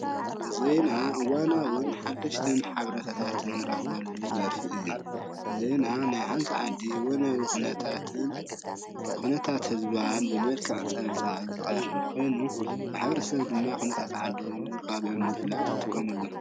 ዜና እዋናውን ሓደሽትን ሓበሬታታት እንረኽበሉ ዘርፊ እዩ። ዜና ናይ ሓንቲ ዓዲ እዋናዊ ኹነታትን ህዝባን በመልክዕ ፀብፃብ ዝቀርብ ኾይኑ ሕብረተሰብ ድማ ሓቤረታ ንምርካብ ይጥቀመሉ።